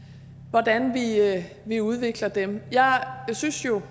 hvordan vi udvikler dem jeg synes jo